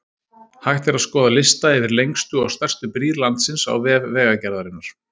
Hægt er að skoða lista yfir lengstu og stærstu brýr landsins á vef Vegagerðarinnar.